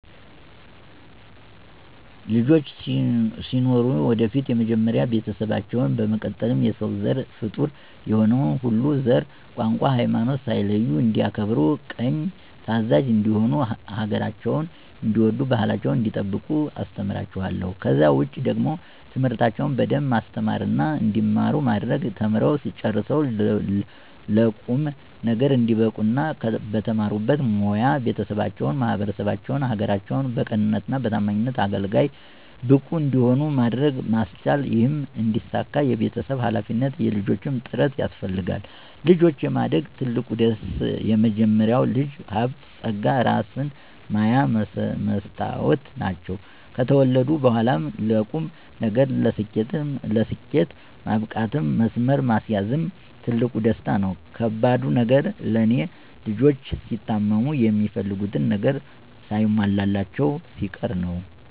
ልጆች ሲኖሩኝ ወደፊት መጀመሪያ ቤተሰባቸውን፣ በመቀጠልም የሰው ዘር ፍጡር የሆነ ሁሉ ዘር፣ ቋንቋ፣ ሀይማኖት ሳይለዩ እንዲያከብሩ ቅን ታዛዥ እንዲሆኑ ሀገራቸውን እንዲወዱ ባህላቸውን እንዲጠብቁ አስተምራቸዋለሁ። ከዛ ውጪ ደግሞ ትምህርታቸውን በደንብ ማስተማርና እንዲማሩ ማድረግ ተምረው ጨርሰው ለቁም ነገር እንዲበቁ እና በተማሩበት ሞያ ቤተሰባቸውን፣ ማህበረሰባቸውን፣ ሀገራቸውን በቅንነትና በታማኝነት አገልጋይ፣ ብቁ እንዲሆኑ ማድረግ ማስቻል ይህም እንዲሳካ የቤተሰብም ሀላፊነት የልጆችም ጥረት ያስፈልጋል። ልጆችን የማሳደግ ትልቁ ደስ፦ መጀመሪያ ልጆች ሀብት ፀጋ እራስን ማያ መስታወት ናቸው። ከተወለዱ በኋላም ለቁም ነገር፣ ለስኬት ማብቃትም መስመር ማስያዝም ትልቁ ደስታ ነው። ከባዱ ነገር ለኔ፦ ልጆች ሲታመሙ፣ የሚፈልጉትን ነገር ሳይሟላላቸው ሲቀር ነው።